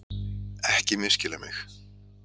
Ekki misskilja mig!